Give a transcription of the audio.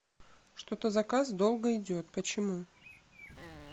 что то заказ долго идет почему